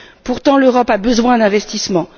Pourtant, l'Europe a besoin d'investissements.